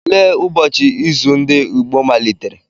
Olee ụbọchị izu ndị Igbo malitere?